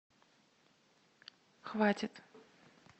хватит